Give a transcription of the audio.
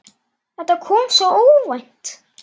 Þetta kom svo óvænt.